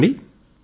చెప్పండి